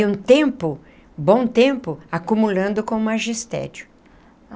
E um tempo, bom tempo, acumulando com magistério.